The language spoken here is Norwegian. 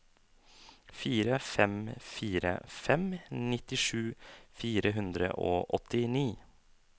fire fem fire fem nittisju fire hundre og åttini